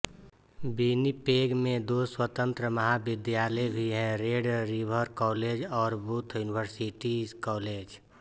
Winnipeg में दो स्वतंत्र महाविद्यालय भी हैं रेड रिवर कॉलेज और बूथ यूनिवर्सिटी कॉलेज